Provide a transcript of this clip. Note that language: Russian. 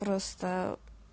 просто